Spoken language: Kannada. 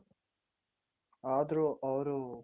ಆದ್ರೂ ಅವ್ರು